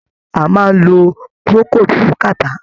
A maá ń lo Procold fún Cattarh.